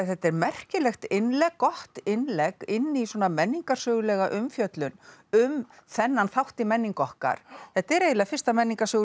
þetta er merkilegt innlegg gott innlegg inn í svona menningarsögulega umfjöllun um þennan þátt í menningu okkar þetta er eiginlega fyrsta